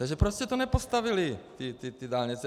Takže proč jste nepostavili ty dálnice?